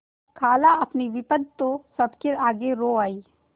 खालाअपनी विपद तो सबके आगे रो आयी